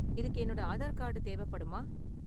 இதுக்கு என்னோட ஆதார் கார்டு தேவைப்படுமா?